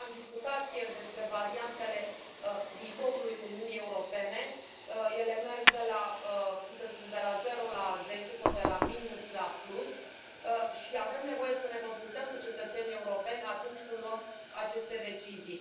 Tocmai am discutat ieri despre variantele viitorului Uniunii Europene, ele merg de la, cum să spun, de la zero la zece sau de la minus la plus, și avem nevoie să ne consultăm cu cetățenii europeni atunci când luăm aceste decizii.